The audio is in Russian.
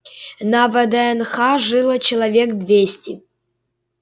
на вднх жило человек двести